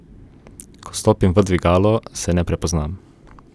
Ko stopim v dvigalo, se ne prepoznam.